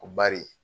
Ko bari